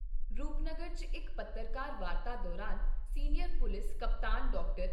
ਰੂਪਨਗਰ 'ਚ ਇਕ ਪੱਤਰਕਾਰ ਵਾਰਤਾ ਦੌਰਾਨ ਸੀਨੀਅਰ ਪੁਲਿਸ ਕਪਤਾਨ ਡਾਕਟਰ